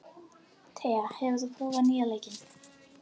Tea, hefur þú prófað nýja leikinn?